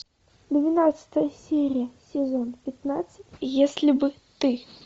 двенадцатая серия сезон пятнадцать если бы ты